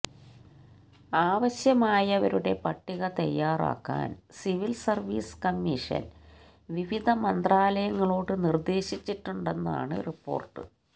ആവശ്യമായവരുടെ പട്ടിക തയ്യാറാക്കാന് civil service commission വിവിധ മന്ത്രാലയങ്ങളോട് നിര്ദ്ദേശിച്ചിട്ടുണ്ടെന്നാണ് റിപ്പോര്ട്ട്